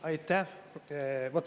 Aitäh!